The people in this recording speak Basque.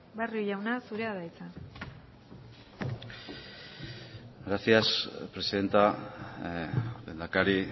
barrio jauna zurea da hitza gracias presidenta lehendakari